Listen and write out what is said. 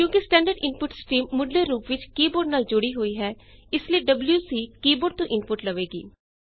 ਕਿਉਂਕਿ standard input stream ਮੁੱਢਲੇ ਰੂਪ ਵਿੱਚ ਕੀ ਬੋਰਡ ਨਾਲ ਜੁੜੀ ਹੋਈ ਹੈ ਇਸ ਲਈ ਡਬਲਯੂਸੀ ਕੀ ਬੋਰਡ ਤੋਂ ਇਨਪੁਟ ਲਵੇਗੀ